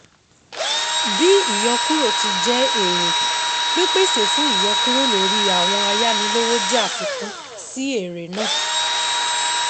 Bí ìyọkúrò ti jẹ́ èrè, pípèsè fún ìyọkúrò lóri àwọn ayánilówó jẹ́ àfikún sí èrè náà.